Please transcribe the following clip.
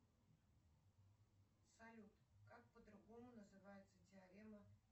салют как по другому называется теорема